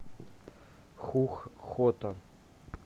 хух хото